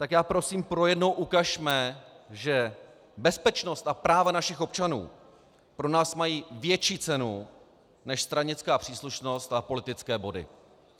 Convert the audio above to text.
Tak prosím, pro jednou ukažme, že bezpečnost a práva našich občanů pro nás mají větší cenu než stranická příslušnost a politické body.